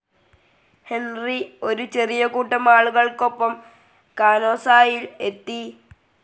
Henry ഒരു ചെറിയ കൂട്ടം ആളുകൾക്കൊപ്പം കാനോസായിൽ എത്തി.